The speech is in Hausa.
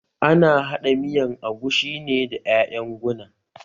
Ana haɗa miyan agushi ne da ƴaƴan guna